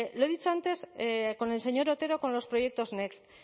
lo he dicho antes con el señor otero con los proyectos next